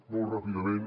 molt ràpidament